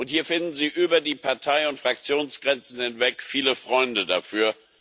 Hier finden Sie über die Partei und Fraktionsgrenzen hinweg viele Freunde dafür.